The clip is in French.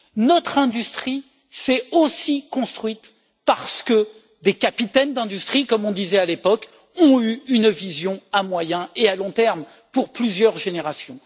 Notre industrie s'est aussi construite parce que des capitaines d'industrie comme on disait à l'époque ont eu une vision à moyen et à long terme pour plusieurs générations.